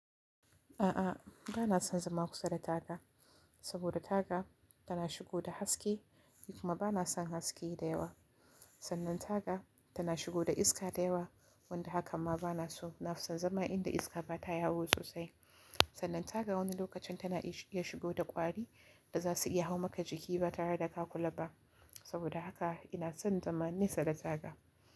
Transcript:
A'a, ba na son zama kusa da taga, saboda taga tana shigo da haske, ni kuma ba na son haske da yawa. Sannan taga tana shigo da iska da yawa, wanda haka ma ba na so. Na fi son zama inda iska ba ta yawo sosai. Sannan taga wani lokacin tana iya shigo da ƙwari da za su iya hau maka jiki ba tare da ka kula ba. Saboda haka ina son zama nesa da taga.